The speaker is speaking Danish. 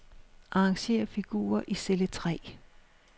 Arrangér figurer i celle tre.